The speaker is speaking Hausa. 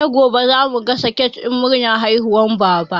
Sai gobe za mu gasa kek ɗin murnar haihuwar Baba.